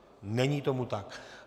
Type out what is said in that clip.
Není tomu tak.